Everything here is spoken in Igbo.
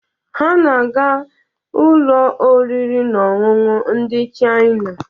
Ha na-aga ụlọ oriri na ọṅụṅụ ndị Chaina.